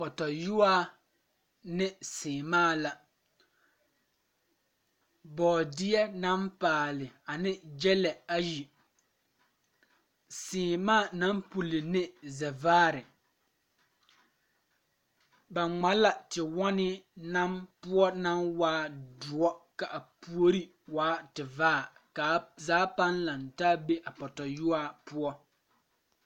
Pɔtɔyuaa ne saamaa la bɔɔdeɛ naŋ paali ane gyɛlɛ ayi seemaa naŋ puli ne zeɛvaare ba ŋma la tewɔnii na poɔ naŋ waa doɔ kaa puori waa ti vaare kaa zaa paŋ laŋtaa be a pɔtɔyuaa poɔ.